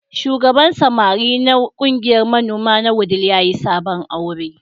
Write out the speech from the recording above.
Shugaban samari na ƙungiyar manoma na Wudil ya yi sabon aure.